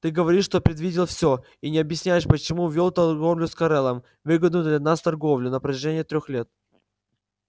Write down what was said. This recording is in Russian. ты говоришь что предвидел все и не объяснишь почему вёл торговлю с корелом выгодную для нас торговлю на протяжении трёх лет